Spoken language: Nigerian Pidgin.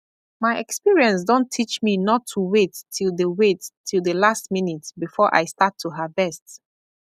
my experience don teach me not to wait till the wait till the last minute before i start to harvest